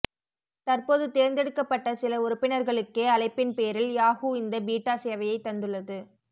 தற்போது தேர்ந்தெடுக்கப்பட்ட சில உறுப்பினர்களுக்கே அழைப்பின்பேரில் யாஹூ இந்த பீட்டா சேவையை தந்துள்ளது